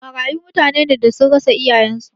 Marayu mutane ne da sun rasa iyayen su